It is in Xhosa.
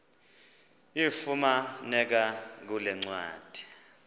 ifumaneka kule ncwadi